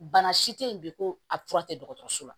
Bana si te yen bi ko a fura tɛ dɔgɔtɔrɔso la